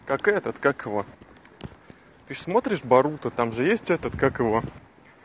как этот как его ты же смотришь боруто там же есть этот как его